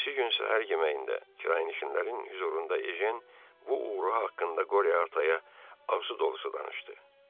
Ertəsi gün səhər yeməyində qırayın işindənrin hüzurunda Ejen bu uğuru haqqında Qoryo Ataya ağzı dolusu danışdı.